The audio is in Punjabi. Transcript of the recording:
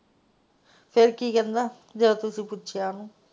ਫੇਰ ਕਿ ਕਰਨਾ ਜੋ ਤੁਸੀ ਪੁੱਛਿਆ ਵਾ?